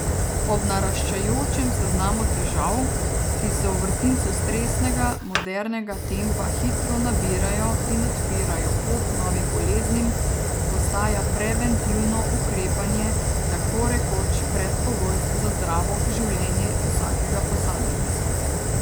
Ob naraščajočem seznamu težav, ki se v vrtincu stresnega, modernega tempa hitro nabirajo in odpirajo pot novim boleznim, postaja preventivno ukrepanje tako rekoč predpogoj za zdravo življenje vsakega posameznika.